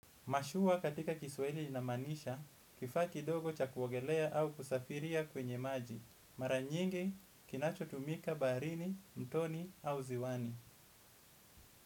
Mashua katika kiswahili inamaanisha, kifaa kidogo cha kuogelea au kusafiria kwenye maji. Mara nyingi, kinachotumika baharini, mtoni au ziwani.